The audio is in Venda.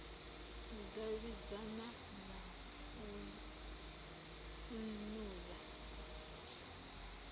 u davhidzana na nnu ya